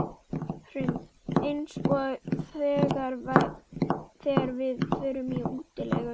Hrund: Eins og þegar við förum í útilegu?